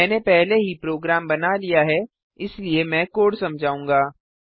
मैंने पहले ही प्रोग्राम बना लिया है इसलिए मैं कोड समझाऊँगा